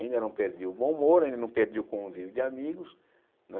Ainda não perdi o bom humor, ainda não perdi o convívio de amigos, né?